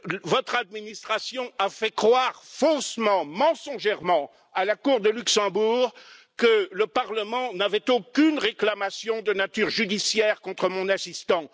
Votre administration a fait croire faussement et mensongèrement à la Cour de justice européenne de Luxembourg que le Parlement n'avait aucune réclamation de nature judiciaire contre mon assistant.